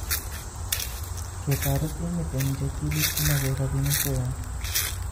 Ketoret timit en cheptulit komoche rapinik chechang